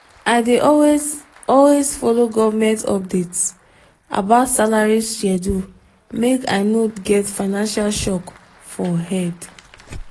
i dey always always follow government updates about salary schedule make i no get financial shock for head.